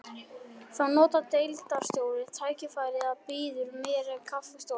Þá notar deildarstjóri tækifærið og býður mér á kaffistofu